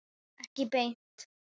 Ekki beint